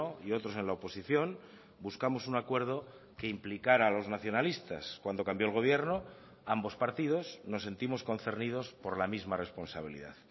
y otros en la oposición buscamos un acuerdo que implicara a los nacionalistas cuando cambió el gobierno ambos partidos nos sentimos concernidos por la misma responsabilidad